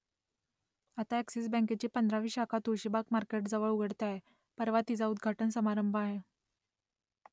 आता अ‍ॅक्सिस बँकेची पंधरावी शाखा तुळशीबाग मार्केटजवळ उघडते आहे , परवा तिचा उद्घाटन समारंभ आहे